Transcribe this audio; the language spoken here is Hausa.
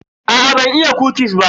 Aa ban iya kukis ba.